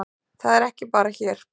Það er ekki bara hér.